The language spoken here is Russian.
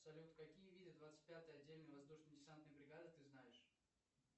салют какие виды двадцать пятой отдельной воздушно десантной бригады ты знаешь